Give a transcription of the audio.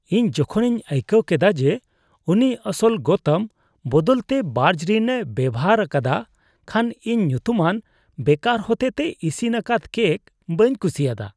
ᱤᱧ ᱡᱚᱠᱷᱚᱱᱤᱧ ᱟᱹᱭᱠᱟᱹᱣ ᱠᱮᱫᱟ ᱡᱮ ᱩᱱᱤ ᱟᱥᱚᱞ ᱜᱚᱛᱚᱢ ᱵᱚᱫᱚᱞ ᱛᱮ ᱵᱟᱨᱡᱽᱨᱤᱱᱮ ᱵᱮᱣᱦᱟᱨ ᱟᱠᱟᱫᱟ ᱠᱷᱟᱱ ᱤᱧ ᱧᱩᱛᱩᱢᱟᱱ ᱵᱮᱠᱟᱨ ᱦᱚᱛᱮᱛᱮ ᱤᱥᱤᱱ ᱟᱠᱟᱫ ᱠᱮᱠ ᱵᱟᱹᱧ ᱠᱩᱥᱤᱭᱟᱫᱟ ᱾